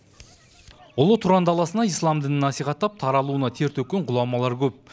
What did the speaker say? ұлы тұран даласына ислам дінін насихаттап таралуына тер төккен ғұламалар көп